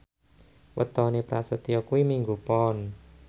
wetone Prasetyo kuwi Minggu Pon